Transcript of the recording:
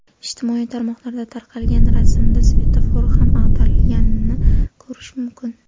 Ijtimoiy tarmoqlarda tarqalgan rasmda svetofor ham ag‘darilganini ko‘rish mumkin.